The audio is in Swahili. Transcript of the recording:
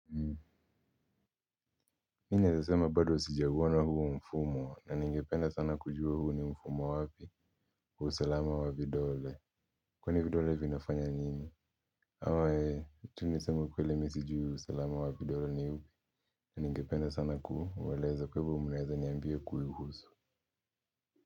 Mimi naeza srma bado sijaupna na huo mfumo na ningependa sana kujua huu ni mfumo wapi wa usalama wa vidole kwani vidole vinafanya nini, au tu niseme tu ukweli mimi sijui usalama wa vidole ni upi ningependa sana kuelezwa kwa hivyo mnaeza kuniambia kuihusu.